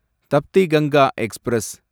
Tapti Ganga express